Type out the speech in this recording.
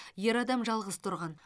ер адам жалғыз тұрған